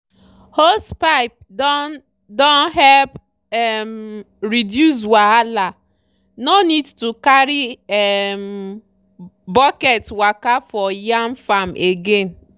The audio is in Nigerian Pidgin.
hosepipe don don help um reduce wahala—no need to carry um bucket waka for yam farm again.